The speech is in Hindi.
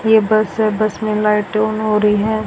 यह बस है बस में लाइट ऑन हो रही है।